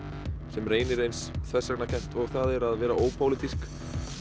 sem reynir eins þversagnakennt og það er að vera ópólitísk